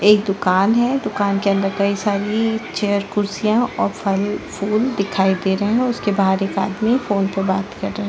एक दुकान है दुकान के अंदर कई सारी चेयर कुर्सियां और फल - फुल दिखाई दे रहे है उसके बाहर एक आदमी फ़ोन पे बात कर रहा है।